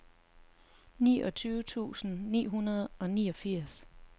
treogtyve tusind ni hundrede og niogfirs